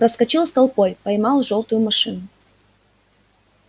проскочил с толпой поймал жёлтую машину